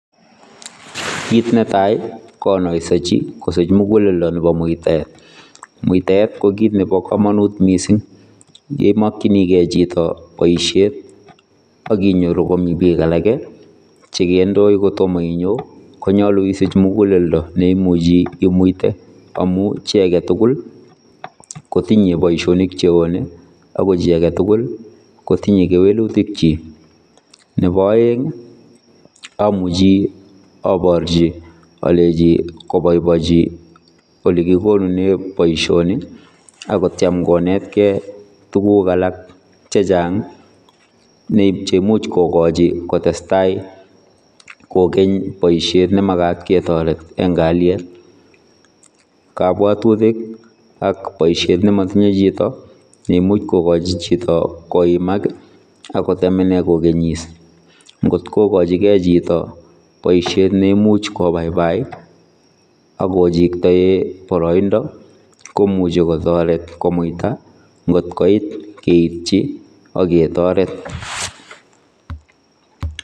Kiit netai konoisechi kosich muguleldo nebo muitaet, muitaet kokiit nebo kamanut mising yeimakyinigei chito boisiet akinyoru komi biik alake chekendoi kotomo inyo konyolu isich muguleldo neimuchi imuite amu chi agetugul kotinye boisionik cheone ako chi aketugul kotinye kewelutikyik. Nebo aeng amuchi aborchi aleji koboibochi ole kigonune boisioni akotyem konetkei tuguk alak chechang cheimuch kokachi kotestai kokeny boisiet nemagat ketoret eng kalyet. kabwatutik ak boisiet nemotinye chito neimuch kokachi chito koimak akotemene kogenis. Ngotkokachi kei chito boisiet neimuch kobaibai akochiktoe boroindo komuchi kotoret komuita ngotkoit keityi aketoret.